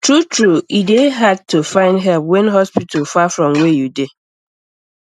true true e dey hard to find help when hospital far from where you dey